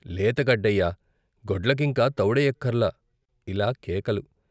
లేతగడ్డయ్యా గొడ్లకింక తవుడెయ్యక్కర్లా ॥ ఇలా కేకలు.